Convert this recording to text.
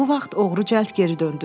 Bu vaxt oğru cəld geri döndü.